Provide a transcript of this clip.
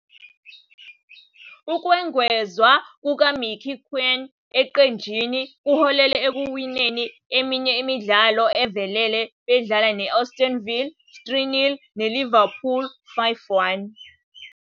Ukwengezwa kukaMicky Quinn eqenjini kuholele ekuwineni eminye imidlalo evelele bedlala ne- Aston Villa, 3-0, neLiverpool, 5-1.